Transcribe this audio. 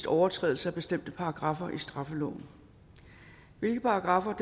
overtrædelser af bestemte paragraffer i straffeloven hvilke paragraffer